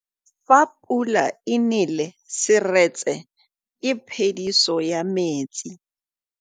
Fa pula e nelê serêtsê ke phêdisô ya metsi.